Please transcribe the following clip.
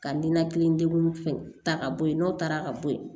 Ka ninakili degun fɛn ta ka bɔ yen n'o taara ka bɔ ye